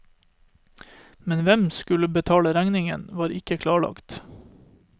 Men hvem som skulle betale regningen, var ikke klarlagt.